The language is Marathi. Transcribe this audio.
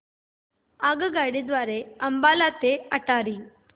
आगगाडी द्वारे अंबाला ते अटारी